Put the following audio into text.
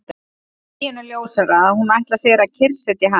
Deginum ljósara að hún ætlar sér að kyrrsetja hann!